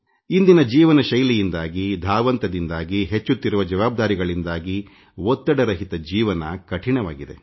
ಇಂದಿನ ಜೀವನಶೈಲಿಯಿಂದಾಗಿಧಾವಂತದಿಂದಾಗಿ ಹೆಚ್ಚುತ್ತಿರುವ ಜವಾಬ್ದಾರಿಗಳಿಂದಾಗಿ ಒತ್ತಡರಹಿತ ಜೀವನ ಕಷ್ಟಸಾಧ್ಯವಾಗಿದೆ